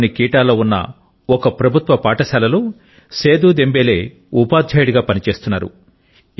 మాలిలోని కిటాలో ఉన్న ఒక ప్రభుత్వ పాఠశాలలో సేదు దెంబేలే ఉపాధ్యాయుడిగా పని చేస్తున్నారు